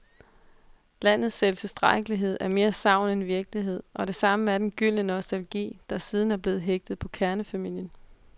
Landets selvtilstrækkelighed er mere sagn end virkelighed, og det samme er den gyldne nostalgi, der siden er blevet hægtet på kernefamilien.